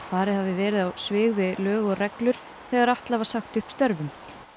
farið hafi verið á svig við lög og reglur þegar Atla var sagt upp störfum